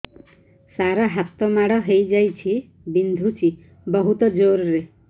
ସାର ହାତ ମାଡ଼ ହେଇଯାଇଛି ବିନ୍ଧୁଛି ବହୁତ ଜୋରରେ